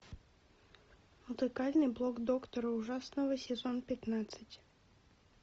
музыкальный блог доктора ужасного сезон пятнадцать